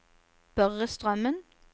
Børre Strømmen